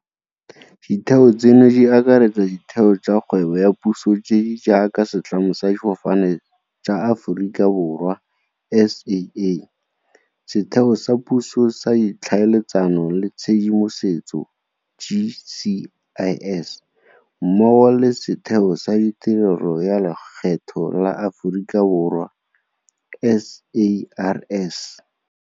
Ditheo tseno di akaretsa ditheo tsa kgwebo ya puso tse di jaaka Setlamo sa Difofane tsa Aforika Borwa SAA, Setheo sa Puso sa Tlhaeletsano le Tshedimosetso GCIS mmogo le Setheo sa Tirelo ya Lekgetho la Aforika Borwa SARS.